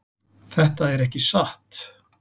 Þetta er ekki satt!